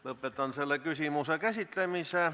Lõpetan selle küsimuse käsitlemise.